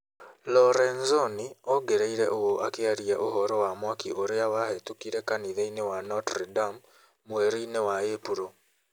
Lorenzoni ongereire ũũ akĩaria ũhoro wa mwaki ũrĩa wahĩtũkire kanitha-inĩ wa Notre-Dame mweri-inĩ wa Ĩpuro.